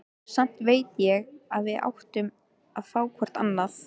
Samt veit ég að við áttum að fá hvort annað.